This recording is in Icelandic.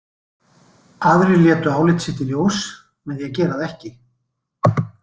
Aðrir létu álit sitt í ljós með því að gera það ekki.